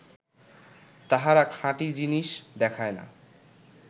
তাহারা খাঁটী জিনিস দেখায় না